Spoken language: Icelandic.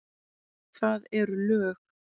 Það eru lög.